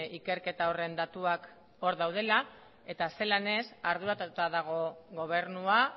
ikerketa horren datuak hor daudela eta zelan ez arduratuta dago gobernua